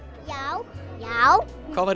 já já hvað var